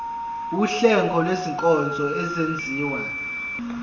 wuhlengo lwezinkonzo ezenziwa